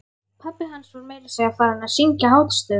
Pabbi hans var meira að segja farinn að syngja hástöfum!